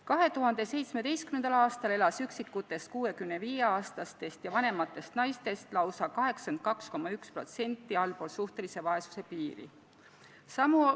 2017. aastal elas üksikutest 65-aastatest ja vanematest naistest lausa 82,1% allpool suhtelise vaesuse piiri.